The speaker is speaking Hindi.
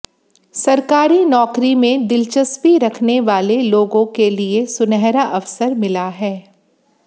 सरकारी नौकरी में दिलचस्पी रखने वाले लोग के लिए सुनहरा अवसर मिला हैं